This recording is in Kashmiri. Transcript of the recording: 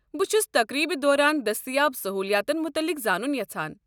بہٕ چھُس تقریبہِ دوران دستیاب سہوٗلِیاتن مُتعلق زانُن یژھان۔